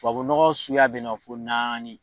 Tubabu nɔgɔ suguya bɛ yen fɔ naani..